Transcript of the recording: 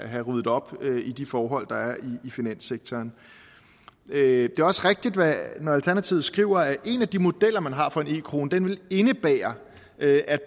have ryddet op i de forhold der er i finanssektoren det er også rigtigt når alternativet skriver at en af de modeller man har for en e krone vil indebære at